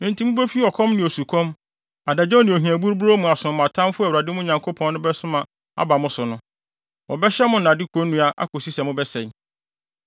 enti mubefi ɔkɔm ne osukɔm, adagyaw ne ohia buruburoo mu asom mo atamfo a Awurade, mo Nyankopɔn no, bɛsoma wɔn aba mo so no. Wɔbɛhyɛ mo nnade konnua akosi sɛ mobɛsɛe.